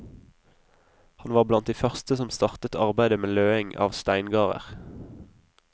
Han var blant de første som startet arbeidet med løing av steingarder.